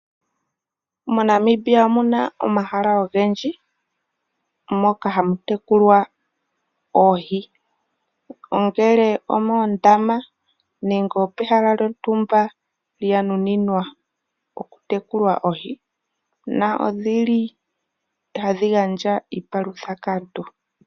MoNamibia omu na omahala ogendji moka hamu tekulwa oohi, ongele omoondama nenge opehala lyontumba lyanuninwa okutekula oohi na odhili tadhi gandja iipalutha kaantu.